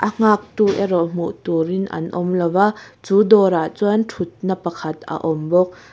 a nghak tu erawh hmuh tur in an awm lo a chu dawr ah chuan thut na pakhat a awm bawk.